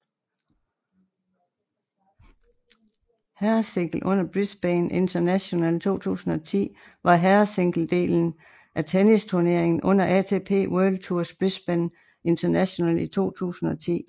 Herresingle under Brisbane International 2010 var herresingledelen af tennisturneringen under ATP World Tours Brisbane International i 2010